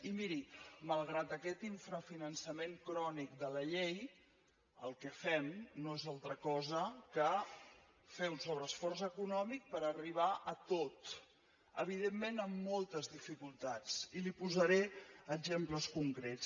i miri mal·grat aquest infrafinançament crònic de la llei el que fem no és altra cosa que fer un sobreesforç econòmic per arribar a tot evidentment amb moltes dificultats i li posaré exemples concrets